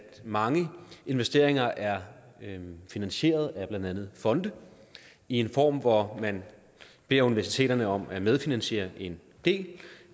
mange investeringer er finansieret af blandt andet fonde i en form hvor man beder universiteterne om at medfinansiere en del